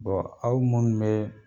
aw munnu be